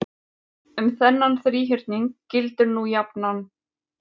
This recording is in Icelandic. Um þennan þríhyrning gildir nú jafnan